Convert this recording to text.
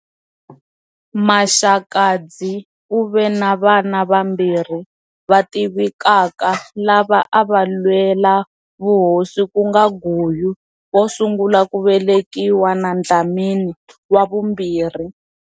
Maxakadzi u ve na vana vambirhi va tivekaka lava a va lwela vuhosi, ku nga Guyu, wo sungula ku velekiwa, na Dlhamani, wa vumbirhi.